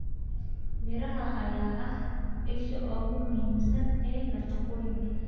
Miraha ayaa ah isha ugu muhiimsan ee nafaqooyinka.